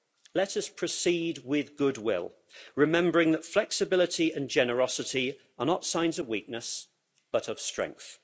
Let us proceed with good will, remembering that flexibility and generosity are not signs of weakness but of strength.